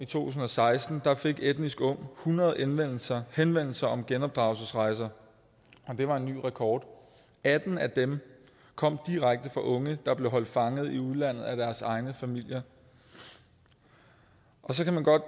tusind og seksten fik etnisk ung hundrede henvendelser henvendelser om genopdragelsesrejser og det var en ny rekord atten af dem kom direkte fra unge der blev holdt fanget i udlandet af deres egne familier så kan man godt